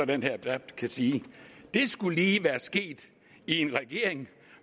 den her debat kan sige det skulle lige være sket i en regering